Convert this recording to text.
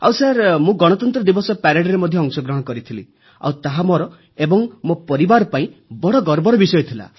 ଆଉ ସାର୍ ମୁଁ ଗଣତନ୍ତ୍ର ଦିବସ ପ୍ୟାରେଡରେ ମଧ୍ୟ ଅଂଶଗ୍ରହଣ କରିଥିଲି ଆଉ ତାହା ମୋର ଏବଂ ମୋ ପରିବାର ପାଇଁ ବଡ଼ ଗର୍ବର ବିଷୟ ଥିଲା